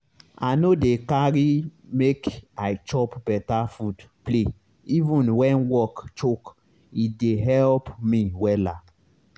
i no dey carry make i chop beta food play even when work choke e dey help me wella